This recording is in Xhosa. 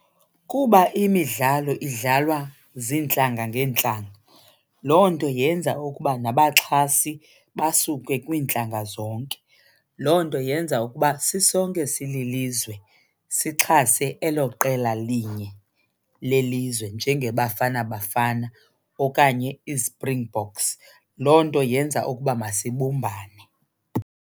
Kuba imidlalo idlalwa zintlanga ngeentlanga loo nto yenza ukuba nabaxhasi basuke kwiintlanga zonke. Loo nto yenza ukuba sisonke sililizwe sixhase elo qela linye lelizwe njengaBafana Bafana okanye iSpringboks. Loo nto yenza ukuba masibumbane.